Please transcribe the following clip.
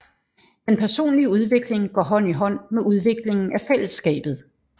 Den personlige udvikling går hånd i hånd med udviklingen af fællesskabet